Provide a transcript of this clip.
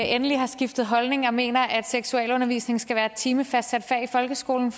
endelig har skiftet holdning og mener at seksualundervisning skal være et timefastsat fag i folkeskolen